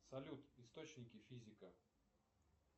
салют источники физика